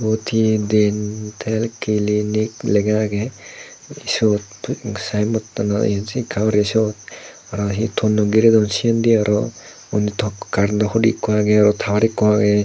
iyot hi dentel clinic lega agey sot saem bottanot ye se ekka guri sot araw hi tonnoi girey don sindi araw unni tok carentto hudu ekko agey araw tawar ekko agey.